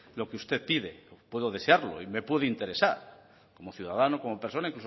lo que usted pide puedo desearlo y me puede interesar como ciudadano como persona